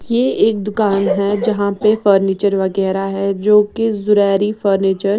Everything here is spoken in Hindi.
ये एक दुकान है जहां पे फर्नीचर वगैरा है जोकि जुरैरी फर्नीचर --